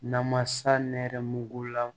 Namasa nɛrɛmugula